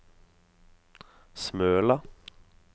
Smøla